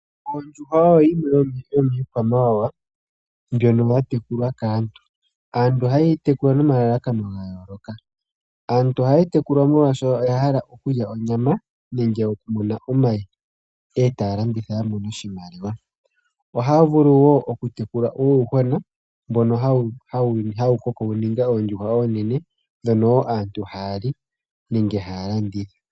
Ondjuhwa oyo yimwe yomiikwamawa mbyono hayi tekulwa kaantu. Aantu ohaye yi tekula nomalalakano ga yooloka. Aantu ohaye yi tekula molwashoka oya hala onyama nenge okumona omayi e taya landitha ya mone oshimaliwa. Ohaya vulu okutekula uuyuhwena mbono hawu koko wu ninge oondjuhwa oonene ndhono wo aantu haya li nenge haya landitha.